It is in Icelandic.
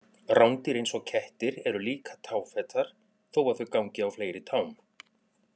Rándýr eins og kettir eru líka táfetar þó að þau gangi á fleiri tám.